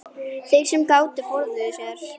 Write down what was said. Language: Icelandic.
Þeir sem gátu forðuðu sér.